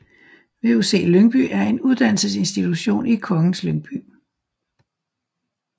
VUC Lyngby er en uddannelsesinstitution i Kongens Lyngby